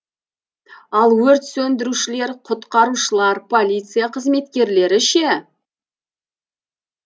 ал өрт сөндірушілер құтқарушылар полиция қызметкерлері ше